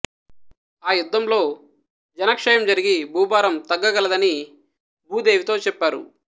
ఆ యుద్ధంలో జనక్షయం జరిగి భూభారం తగ్గకలదని భూదేవితో చెప్పారు